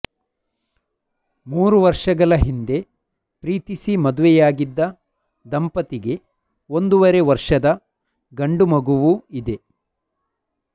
ಮೂರು ವರ್ಷಗಳ ಹಿಂದೆ ಪ್ರೀತಿಸಿ ಮದುವೆಯಾಗಿದ್ದ ದಂಪತಿಗೆ ಒಂದುವರೆ ವರ್ಷದ ಗಂಡು ಮಗುವೂ ಇದೆ